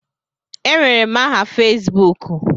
Enwere m aha Fesbuku.